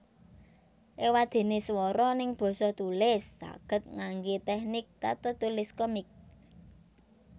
Ewadene swara neng basa tulis saged ngangge teknik tatatulis komik